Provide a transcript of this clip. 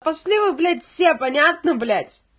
пошли вы блять все понятно блять